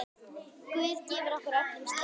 Guð gefi ykkur öllum styrk.